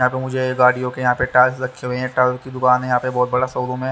यह पे मुझे गाडियों के यह पे टायर्स रखे हुए हें टायर्स की दूकान हैं यह पे बहुत बड़ा शोरूम हैं।